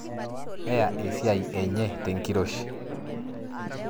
Neya esiai enyetenkiroshii